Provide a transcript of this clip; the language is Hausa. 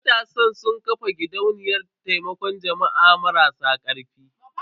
Matasan sun ƙafa gidauniyar taimakon jama'a marasa karfi.